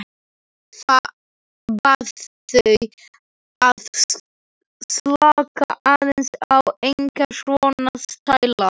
Bað þau að slaka aðeins á, enga svona stæla!